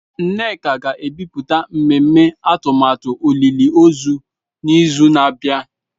Nneka ga-ebipụta mmemme atụmatụ olili ozu n'izu na-abịa.